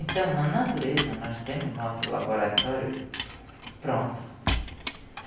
Então, na natureza, nós temos o nosso laboratório pronto.